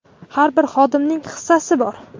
har bir xodimning hissasi bor.